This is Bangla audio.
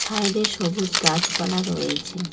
সাইডে সবুজ গাছপালা রয়েছে।